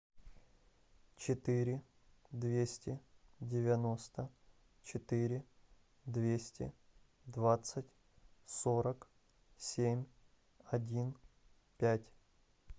четыре двести девяносто четыре двести двадцать сорок семь один пять